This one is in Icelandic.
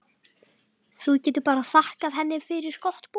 Þú getur bara þakkað henni fyrir gott boð.